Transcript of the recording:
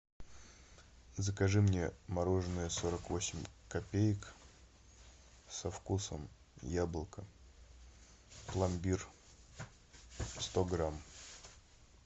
закажи мне мороженое сорок восемь копеек со вкусом яблоко пломбир сто грамм